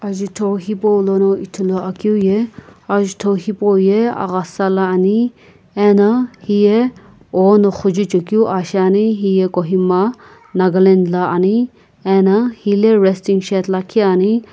ajutho hipaulono ithuluakeu ye ajutho hipauye aghasa la ani ena hiye oüno xujuchekeu aa shiani hiye kohima nagaland la ani ena hile resting shed lakhi ani.